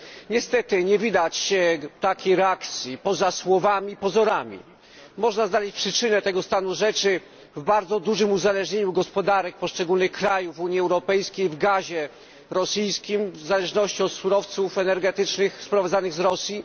Niestety nie widać takiej reakcji, poza słowami i pozorami. Można znaleźć przyczynę tego stanu rzeczy w bardzo dużym uzależnieniu gospodarek poszczególnych krajów Unii Europejskiej od rosyjskiego gazu, w zależności od surowców energetycznych sprowadzanych z Rosji.